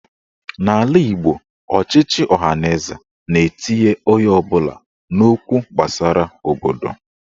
N'ala Igbo, ochịchị ọhaneze na-etinye onye ọbụla n'okwu gbasara obodo.